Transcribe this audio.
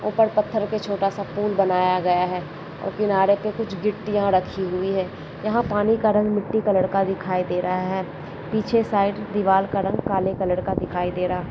ऊपर पत्थर पे छोटा सा पूल बनाया गया है और किनारे पे कुछ गीटियां रखीं हुई हैं यहाँ पानी का रंग मिटटी कलर का दिखाई दे रहा है पीछे साइड दिवार का रंग काले रंग का दिखाई दे रहा --